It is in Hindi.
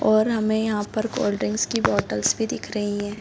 और हमे यहाँ पर कोल्डड्रिंक्स की बॉटल्स भी दिख रही है।